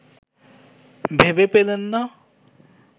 ভেবে পেলেন না